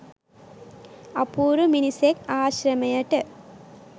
අපූරු මිනිසෙක් ආශ්‍රමයට